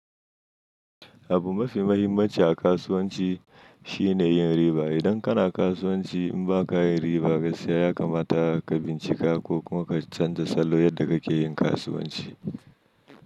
Abu mafi mahimmanci a kasuwanci shi ne yin riba. Idan kana kasuwanci in ba ka yin riba ka siya ya kamata ka bincika ko kuma ka canza salo yadda kake yin kasuwanci.